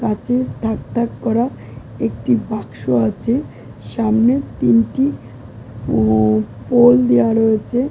কাঁচের থাক থাক করা একটি বাক্স আছে । সামনে তিনটি উম পোল দেওয়া রয়েছে ।